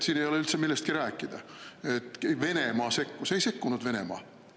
Siin ei ole üldse millestki rääkida, et Venemaa sekkus – ei sekkunud Venemaa!